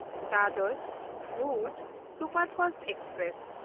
Dadar Bhuj Superfast express